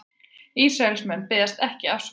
Ísraelsmenn biðjast ekki afsökunar